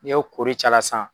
N'i y'o koori c'ala sisan